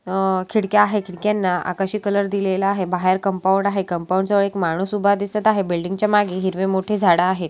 अ खिडक्या आहे खिडक्यांना आकाशी कलर दिलेला आहे बाहेर कंपाउंड आहे कंपाउंड जवळ एक माणूस उभा दिसत आहे बिल्डिंग च्या मागे हिरवे मोठे झाड आहेत.